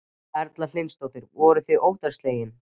Erla Hlynsdóttir: Voruð þið óttaslegnir?